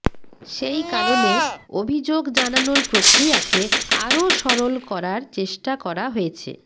সেই কারণে অভিযোগ জানানোর প্রক্রিয়াকে আরও সরল করার চেষ্টা করা হয়েছে